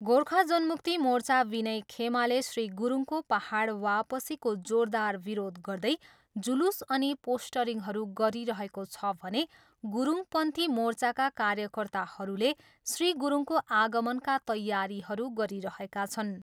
गोर्खा जनमुक्ति मोर्चा विनय खेमाले श्री गुरुङको पाहाड वापसीको जोरदार विरोध गर्दै जुलुस अनि पोस्टरिङहरू गरिरहेको छ भने गुरुङ पन्थी मोर्चाका कार्यकर्ताहरूले श्री गुरुङको आगमनका तैयारीहरू गरिरहेका छन्।